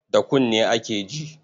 Da kunne ake ji.